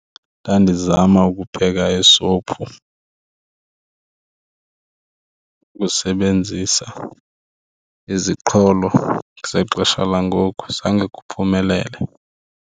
Ndandizama ukupheka isophi ukusebenzisa iziqholo zexesha langoku zange kuphumelele.